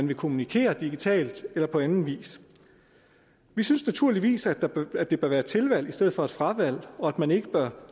vil kommunikere digitalt eller på anden vis vi synes naturligvis at at det bør være et tilvalg i stedet for et fravalg og at man ikke bør